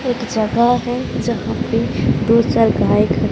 एक जगह है जहां पे दो-चार गाय खड़ी--